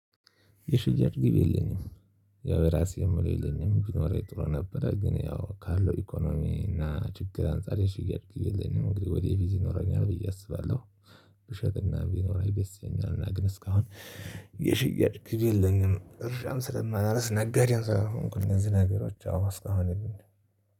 የሽያጭ ግብ የለኝም። ያው የራሴ ምለው የለኝም ቢኖረኝ ጥሩ ነበረ ግን ያው ካለው ኢኮኖሚ እና ችግር አንፃር የሽያጭ ግብ የለኝም እንግዲህ ወደፊት ይኖረኛል ብዬ አስባለሁ። ብሸጥ እና ቢኖረኝ ደስ ይለኛል እና ግን እስካሁን የሽያጭ ግብ የለኝም። እርሻም ስለማላርስ ነጋዴም ስላልሆንኩ እነዚህ ነገሮች አዎ አስካሁን የሉኝም